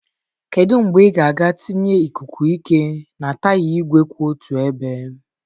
Kedu mgbe ị ga-aga tinye ikuku ike na taya igwe kwụ otu ebe?